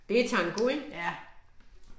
Det tango ik?